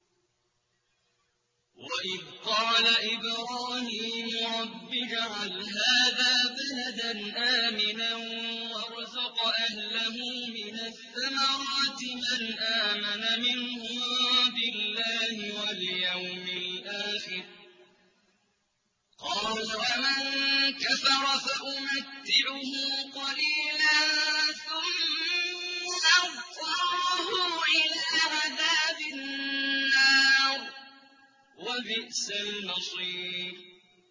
وَإِذْ قَالَ إِبْرَاهِيمُ رَبِّ اجْعَلْ هَٰذَا بَلَدًا آمِنًا وَارْزُقْ أَهْلَهُ مِنَ الثَّمَرَاتِ مَنْ آمَنَ مِنْهُم بِاللَّهِ وَالْيَوْمِ الْآخِرِ ۖ قَالَ وَمَن كَفَرَ فَأُمَتِّعُهُ قَلِيلًا ثُمَّ أَضْطَرُّهُ إِلَىٰ عَذَابِ النَّارِ ۖ وَبِئْسَ الْمَصِيرُ